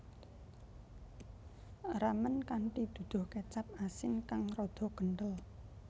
Ramen kanthi duduh kecap asin kang rada kenthel